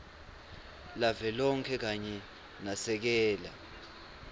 lavelonkhe kanye nasekela